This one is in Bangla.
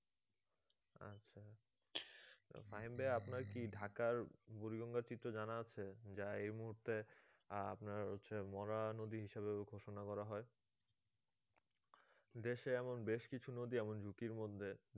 ফাহিম ভাইয়া আপনার কি ঢাকার বুড়িগঙ্গা চিত্র জানা আছে যা এ মুহূর্তে আপনার হচ্ছে মরা নদী হিসেবে ঘোষনা করা হয় দেশে এমন বেশ কিছু নদী এমন ঝুঁকির মধ্যে